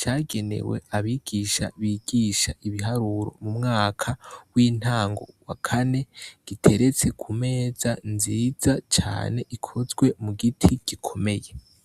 cagenewe abigisha bigisha ibiharuro mu mwaka w'intango wa kane giteretseku meza nziza cane ikozwe mu giti gikomeye.